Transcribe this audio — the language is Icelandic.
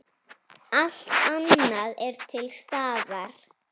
Allt annað er til staðar.